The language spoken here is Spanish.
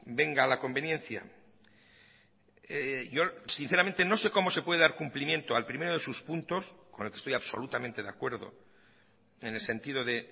venga la conveniencia yo sinceramente no sé cómo se puede dar cumplimiento al primero de sus puntos con el que estoy absolutamente de acuerdo en el sentido de